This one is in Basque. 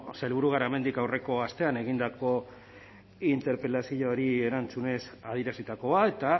sailburu garamendik aurreko astean egindako interpelazioari erantzunez adierazitakoa eta